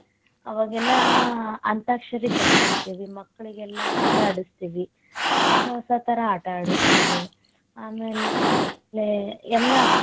ಅವಾಗೆಲ್ಲ ಅಂತಾಕ್ಷರಿ ಕಟಕೋಂತೇವಿ ಮಕ್ಕಳಿಗೆಲ್ಲಾ ಆಟ ಆಡಸತೇವಿ, ಹೊಸ ಹೊಸ ತರಾ ಆಟ ಅಡ್ಸ್ಟೀವಿ, ಆಮೇಲ ಎಲ್ಲಾ.